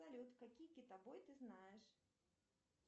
салют какие китобой ты знаешь